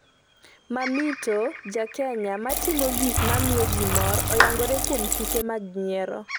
‘Mamito’ Ja Kenya ma timo gik ma miyo ji mor, oyangore kuom tuke mag nyiero